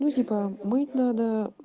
ну типа мыть надо